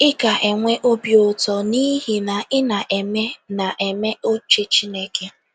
Ị ga - enwe obi ụtọ n’ihi na ị na - eme na - eme uche Chineke.